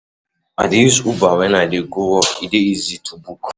I dey use Uber wen I dey go work, e dey easy to book.